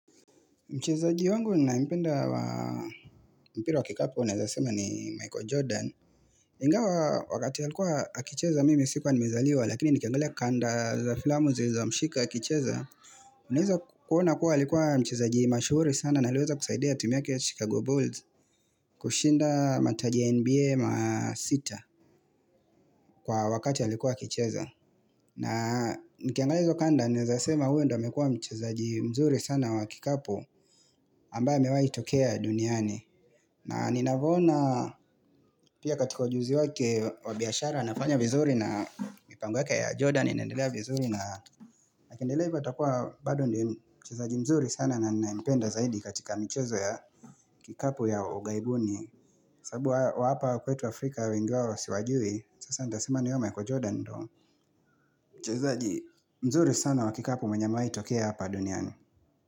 Mchezaji wangu ninayependa wa mpira wa kikapu naeza sema ni Michael Jordan Ingawa wakati allikuwa akicheza mimi sikuwa nimezaliwa lakini nikiangalia kanda za filamu zilizomshika mshika akicheza Unaweza kuona kuwa alikuwa mchezaji mashuhuri sana na aliweza kusaidia timu yake chicago Bulls kushinda mataji ya NBA ma sita kwa wakati ya likuwa akicheza na nikiangale hizo kanda unaezasema huyu ndio amekua mchezaji mzuri sana wa kikapu ambaye amewai tokea duniani na ninavona pia katika ujuzi wake wabiashara nafanya vizuri na mipango yake ya Jordan inaendelea vizuri na na akiendelea hivyo atakua bado ndiye mchezaji mzuri sana na ninaempenda zaidi katika michezo ya kikapu ya ugaibuni sabu wa hapa kwetu Afrika ingawa siwajui sasa nitasema ni huyo Michael Jordan mchezaji mzuri sana wa kikapu mwenye amewai tokea hapa duniani.